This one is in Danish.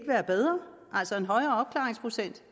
være bedre